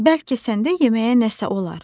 Bəlkə səndə yeməyə nəsə olar?